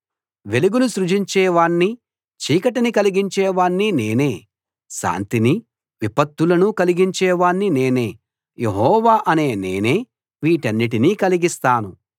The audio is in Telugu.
వెలుగును సృజించే వాణ్ణీ చీకటిని కలిగించే వాణ్ణీ నేనే శాంతినీ విపత్తులనూ కలిగించే వాణ్ణి నేనే యెహోవా అనే నేనే వీటన్నిటినీ కలిగిస్తాను